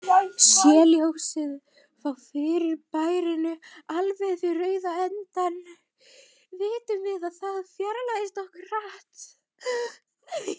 Sé ljósið frá fyrirbærinu alveg við rauða endann, vitum við að það fjarlægist okkur hratt.